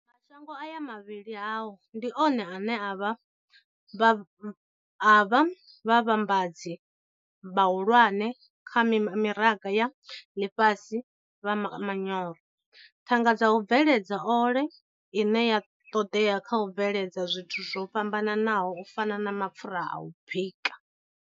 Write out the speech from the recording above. Mashango aya mavhili hao ndi one ane a vha vhavhambadzi vhahulwane kha mimaraga ya ḽifhasi vha manyoro, thanga dza u bveledza ole ine ya ṱoḓea kha u bveledza zwithu zwo fhambanaho u fana na mapfura a u bika.